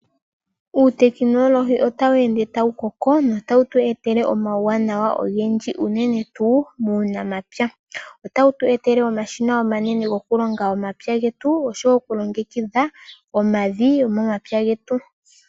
Uutekinologi otawu ende tawu koko notawu tu etele omawuwanawa ogendji uunene tuu muunamapya. Otawu tu etela omashina omanene gokulonga omapya getu osho wo okulongekidha omavi gomomapya getu.